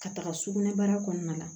Ka taga sugunɛbara kɔɔna na